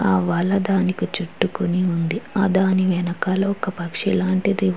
ఆ వల దానికి చుట్టుకొని ఉంది. దాని వెనకాల ఒక పక్షి లాంటిది --